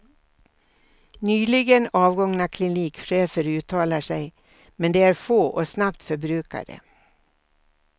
Nyligen avgångna klinikchefer uttalar sig, men de är få och snabbt förbrukade.